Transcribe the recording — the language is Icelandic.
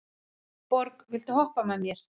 Borg, viltu hoppa með mér?